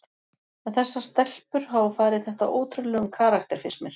En þessar stelpur hafa farið þetta á ótrúlegum karakter finnst mér.